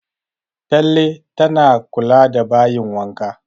Talle tana kula da bayin wanka